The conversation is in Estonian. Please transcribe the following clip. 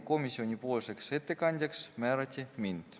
Komisjoni ettekandjaks määrati mind.